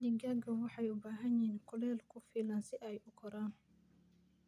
Digaagga waxay u baahan yihiin kulayl ku filan si ay u koraan.